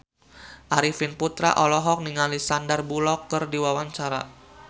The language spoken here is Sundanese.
Arifin Putra olohok ningali Sandar Bullock keur diwawancara